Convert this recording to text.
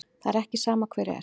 Það er ekki sama hver er.